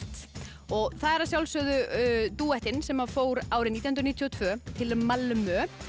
og það er dúettinn sem fór árið nítján hundruð níutíu og tvö til Malmö